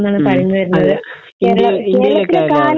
മ്മ്. അതെ.